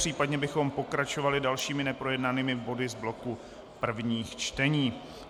Případně bychom pokračovali dalšími neprojednanými body z bloku prvních čtení.